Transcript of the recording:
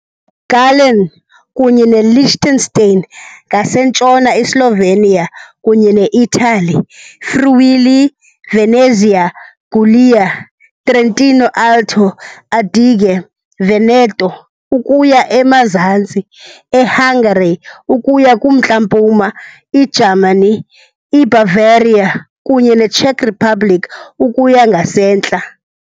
Gallen kunye neLiechtenstein ngasentshona, iSlovenia kunye neItali, Friuli-Venezia Giulia, Trentino-Alto Adige, Veneto, ukuya emazantsi, eHungary ukuya kumntla-mpuma, iJamani, iBavaria, kunye neCzech Republic ukuya ngasentla.